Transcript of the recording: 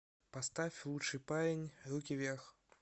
поставь лучший парень руки вверх